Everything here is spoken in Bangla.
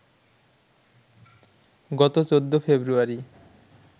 গত ১৪ ফেব্রুয়ারি